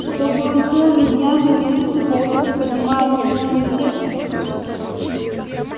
чтобы он целыми днями носился по офису поднимая рухнувшую сетку